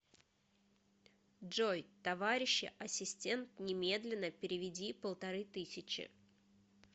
джой товарищи ассистент немедленно переведи полторы тысячи